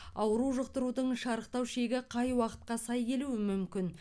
ауру жұқтырудың шарықтау шегі қай уақытқа сай келуі мүмкін